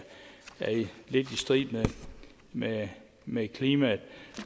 lidt i strid med med klimaet